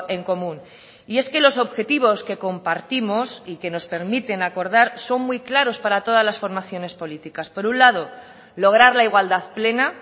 en común y es que los objetivos que compartimos y que nos permiten acordar son muy claros para todas las formaciones políticas por un lado lograr la igualdad plena